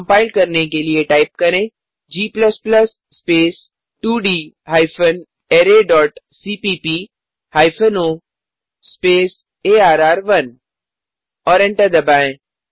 compile करने के लिए टाइप करें g स्पेस 2डी hyphen array dot cpp hyphen o space अर्र1 और एंटर दबाएँ